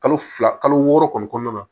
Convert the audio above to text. Kalo fila kalo wɔɔrɔ kɔni kɔnɔna na